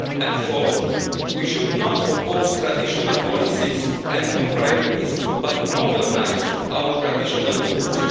And fourth, we should not oppose traditional policies and new priorities but modernise our traditional tools.